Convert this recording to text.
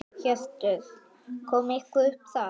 Hjörtur: Kom eitthvað upp þar?